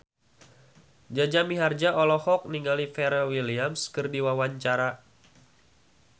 Jaja Mihardja olohok ningali Pharrell Williams keur diwawancara